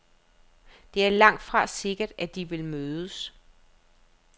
Det er langtfra sikkert, at de vil mødes.